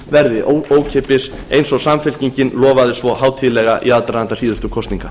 verði ókeypis eins og samfylkingin lofaði svo hátíðlega í aðdraganda síðustu kosninga